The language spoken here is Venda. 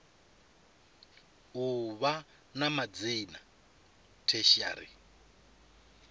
u vha na madzina tertiary